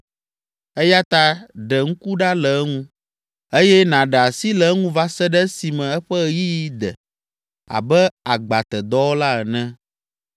Eya ta ɖe ŋku ɖa le eŋu eye nàɖe asi le eŋu va se ɖe esime eƒe ɣeyiɣi de abe agbatedɔwɔla ene.